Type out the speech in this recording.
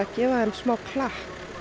gefa þeim klapp